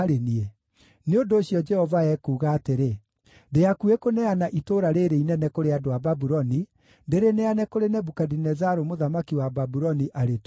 Nĩ ũndũ ũcio, Jehova ekuuga atĩrĩ: Ndĩ hakuhĩ kũneana itũũra rĩĩrĩ inene kũrĩ andũ a Babuloni, ndĩrĩneane kũrĩ Nebukadinezaru mũthamaki wa Babuloni, arĩtunyane.